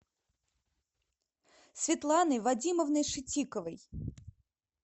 светланой вадимовной шитиковой